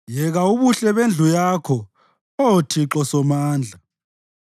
Yeka ubuhle bendlu yakho, Oh Thixo Somandla!